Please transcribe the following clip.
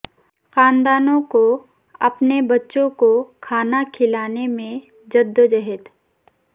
خاندانوں کو اپنے بچوں کو کھانا کھلانے میں جدوجہد